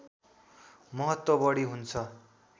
महत्त्व बढी हुन्छ